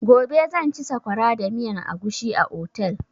Gobe zan ci sakwara da miyan agushi a otel.